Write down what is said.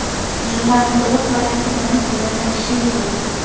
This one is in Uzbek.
Jurnalning to‘liq varianti bilan quyida tanishishingiz mumkin.